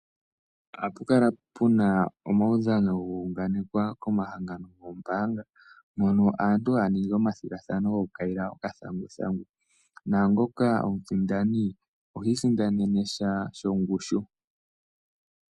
Ohapu kala puna omaudhano guunganekwa komahangano goombaanga mono aantu haya ningi omathigathano goku kayila okathanguthangu, naangoka omusindani ohii sindanene sha shongushu.